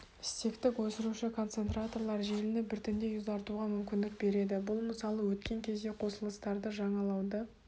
стектік өсіруші концентраторлар желіні біртіндей ұзартуға мүмкіндік береді бұл мысалы өткен кезде қосылыстарды жаңалауды